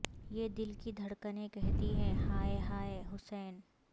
یہ دل کی دھڑکنیں کہتی ہیں ہائے ہائے حسین